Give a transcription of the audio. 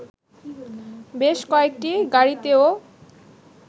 বেশ কয়েকটি গাড়িতেও